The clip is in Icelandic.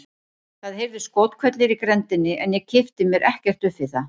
Það heyrðust skothvellir í grenndinni en ég kippti mér ekkert upp við það.